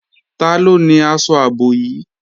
Taló ni aṣọ ààbò yìí?